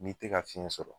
N'i tɛ ka fiɲɛ sɔrɔ